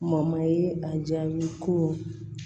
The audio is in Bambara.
Mɔye ye a jaabi ko